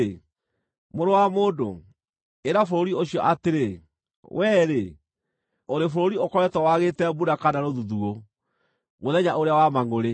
“Mũrũ wa mũndũ, ĩra bũrũri ũcio atĩrĩ, ‘Wee-rĩ, ũrĩ bũrũri ũkoretwo wagĩte mbura kana rũthuthuũ, mũthenya ũrĩa wa mangʼũrĩ.’